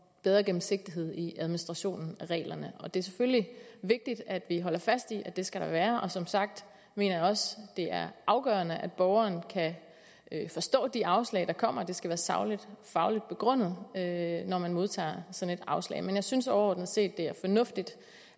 bedre gennemsigtighed i administrationen af reglerne og det selvfølgelig vigtigt at vi holder fast i at der skal være som sagt mener jeg også det er afgørende at borgerne kan forstå de afslag der kommer og det skal være sagligt og fagligt begrundet når man modtager sådan et afslag men jeg synes overordnet set det er fornuftigt